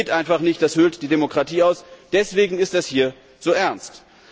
Das geht einfach nicht, das höhlt die Demokratie aus. Deswegen ist das hier so ernst.